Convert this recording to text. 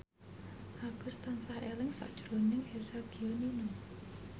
Agus tansah eling sakjroning Eza Gionino